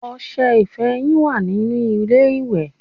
Ọṣẹ ìfọyín wà nínú ilé ìwẹ̀